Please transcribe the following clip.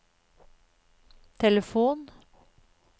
telefon